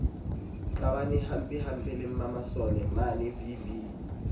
qabana hampempe le mmamasolomane vv